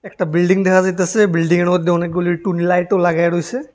একটা বিল্ডিং দেখা যাইতাছে বিল্ডিংয়ের মধ্যে অনেকগুলি টুনি লাইটও লাগায়া রয়েছে।